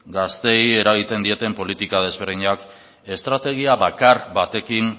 gazteei eragiten dieten politika desberdinak estrategia bakar batekin